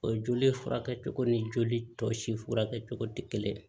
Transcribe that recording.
O joli furakɛ cogo ni joli tɔ si furakɛ cogo tɛ kelen ye